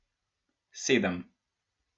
Sedem.